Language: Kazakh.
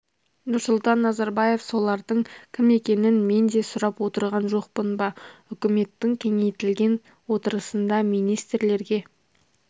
нұрсұлтан назарбаев солардың кім екенін мен де сұрап отырған жоқпын ба үкіметтің кеңейтілген отырысында министрлерге